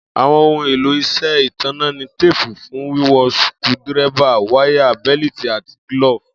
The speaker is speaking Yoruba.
Àwo̩n ohun èlò is̩é̩ ìtànná ni téèpù fun wiwon, suku-díré̩bà, wáyà, bé̩lítì àti gíló̩ò̩fù